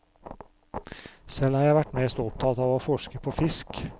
Selv har jeg vært mest opptatt av å forske på fisk.